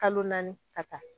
Kalo naani ka taa.